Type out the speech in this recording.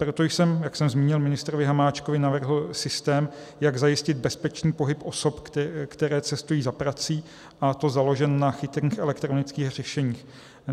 Proto jsem, jak jsem zmínil ministrovi Hamáčkovi, navrhl systém, jak zajistit bezpečný pohyb osob, které cestují za prací, a to založený na chytrých elektronických řešeních.